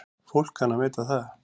Fólk kann að meta það.